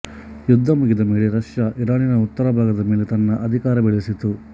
ಯುದ್ಧ ಮುಗಿದ ಮೇಲೆ ರಷ್ಯ ಇರಾನಿನ ಉತ್ತರ ಭಾಗದ ಮೇಲೆ ತನ್ನ ಅಧಿಕಾರ ಬೆಳೆಸಿತು